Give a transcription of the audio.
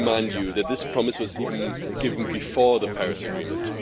me remind you that this promise was given even before the Paris Agreement.